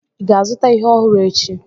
ị ga-azụta ite ọhụrụ echi?